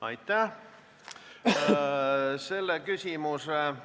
Aitäh!